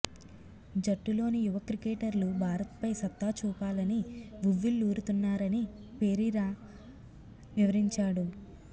జట్టులోని యువ క్రికెటర్లు భారత్పై సత్తా చూపాలని ఉవ్విళూరుతున్నారని పెరీరా వివరించాడు